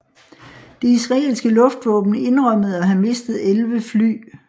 Det israelske luftvåben indrømmede at have mistet 11 fly